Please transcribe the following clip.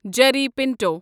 Jerry Pinto